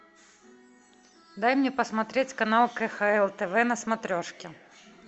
дай мне посмотреть канал кхл тв на смотрешке